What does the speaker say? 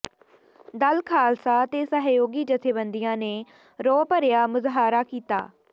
ਦਲ ਖਾਲਸਾ ਤੇ ਸਹਿਯੋਗੀ ਜਥੇਬੰਦੀਆਂ ਨੇ ਰੋਹ ਭਰਿਆ ਮੁਜ਼ਾਹਰਾ ਕੀਤਾ